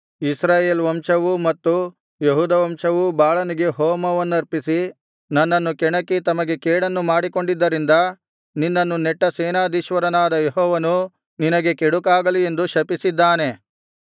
ಇಸ್ರಾಯೇಲ್ ವಂಶವೂ ಮತ್ತು ಯೆಹೂದ ವಂಶವೂ ಬಾಳನಿಗೆ ಹೋಮವನ್ನರ್ಪಿಸಿ ನನ್ನನ್ನು ಕೆಣಕಿ ತಮಗೆ ಕೆಡುಕನ್ನು ಮಾಡಿಕೊಂಡಿದ್ದರಿಂದ ನಿನ್ನನ್ನು ನೆಟ್ಟ ಸೇನಾಧೀಶ್ವರನಾದ ಯೆಹೋವನು ನಿನಗೆ ಕೆಡುಕಾಗಲಿ ಎಂದು ಶಪಿಸಿದ್ದಾನೆ